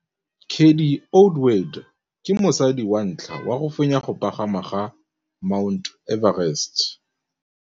Cathy Odowd ke mosadi wa ntlha wa go fenya go pagama ga Mt Everest.